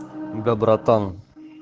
да братан